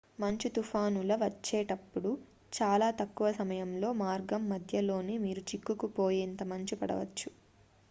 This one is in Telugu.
మంచు తుఫానుల వచ్చేటప్పుడు చాలా తక్కువ సమయంలో మార్గం మధ్యలోనే మీరు చిక్కుకుపోయేంత మంచు పడవచ్చు